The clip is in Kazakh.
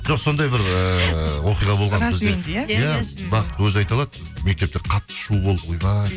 жоқ сондай бір ыыы оқиға болған иә бақыт өзі айта алады мектепте қатты шу болып ойбай